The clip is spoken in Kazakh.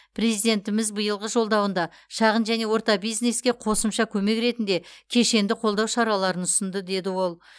президентіміз биылғы жолдауында шағын және орта бизнеске қосымша көмек ретінде кешенді қолдау шараларын ұсынды деді ол